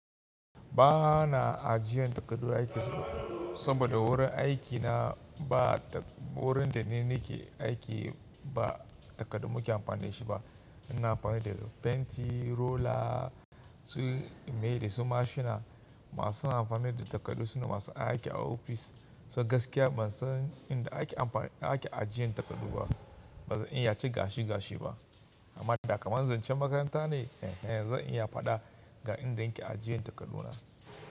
Ba na ajiyan takardu aiki ba, saboda wurin aiki na ba wurin da nake aiki ba takardu muke amfani da shi ba. Muna amfani da fenti, roller su meye da su mashina. Masu amfani da takardu sune masu aiki a ofis. So gaskiya ban san inda ake amfani ake ajiyan takardu ba. Ban zan iya ce gashi gashi ba amma da kamar zancen makaranta ne, eh zan iya fada ga inda nake ajiyan takardu na.